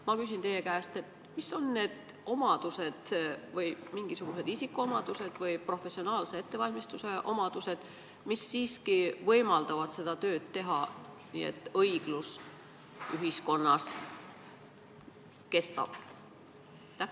Ma küsin teie käest, millised on need omadused – isikuomadused või professionaalne ettevalmistus –, mis siiski võimaldavad seda tööd teha nii, et õiglus ühiskonnas kestab.